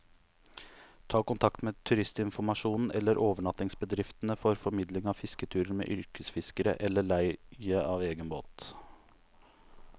Ta kontakt med turistinformasjonen eller overnattingsbedriftene for formidling av fisketurer med yrkesfiskere, eller leie av egen båt.